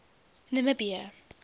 namibië